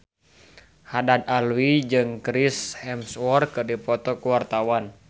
Haddad Alwi jeung Chris Hemsworth keur dipoto ku wartawan